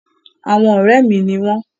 Àwọn ọ̀rẹ́ mi ni wọ́n.